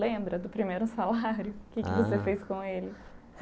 Lembra do primeiro salário o que Ah é que você fez com ele?